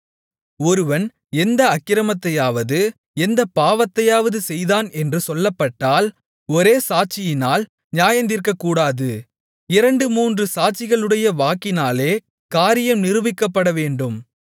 ஒருவன் எந்த அக்கிரமத்தையாவது எந்தப் பாவத்தையாவது செய்தான் என்று சொல்லப்பட்டால் ஒரே சாட்சியினால் நியாயந்தீர்க்கக்கூடாது இரண்டு மூன்று சாட்சிகளுடைய வாக்கினாலே காரியம் நிரூபிக்கப்படவேண்டும்